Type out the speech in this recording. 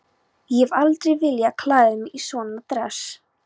Ég hef aldrei viljað klæða mig í svona dress.